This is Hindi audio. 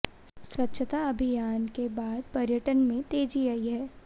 स्वच्छता अभियान के बाद पर्यटन में तेजी आई है